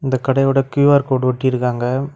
இந்த கடையோட Q R code ஒட்டி இருக்காங்க.